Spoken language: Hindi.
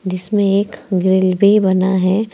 जिसमें एक ग्रिल भी बना है।